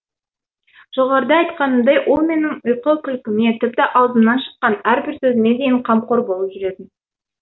жоғарыда айтқанымдай ол менің ұйқы күлкіме тіпті аузымнан шыққан әрбір сөзіме дейін қамқор болып жүретін